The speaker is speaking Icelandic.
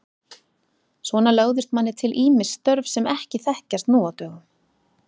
Svona lögðust manni til ýmis störf sem ekki þekkjast nú á dögum.